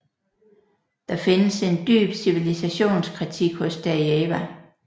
Der findes en dyb civilisationskritik hos Derieva